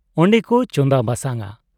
ᱚᱱᱰᱮ ᱠᱚ ᱪᱚᱸᱫᱟ ᱵᱟᱥᱟᱝ ᱟ ᱾